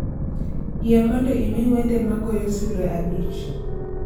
Yie mondo imi wende ma goyo sulwe abich